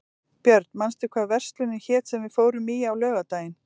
Björn, manstu hvað verslunin hét sem við fórum í á laugardaginn?